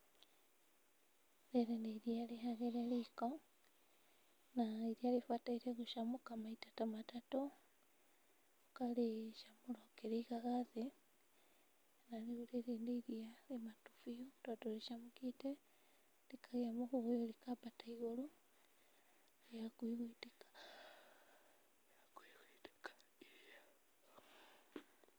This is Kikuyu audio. Rĩrĩ nĩ iria rĩhagĩre riko, na iria rĩbataire gũcamũka maita ta matatũ, ũkarĩcamũra ũkĩrĩigaga thĩ na rĩu rĩrĩ nĩ iria rĩmatu biũ tondũ rĩcamũkĩte rĩkagĩa mũhũyũ rĩkambata igũrũ na rĩ hakuhĩ gũitĩka, rĩ hakuhĩ gũitĩka.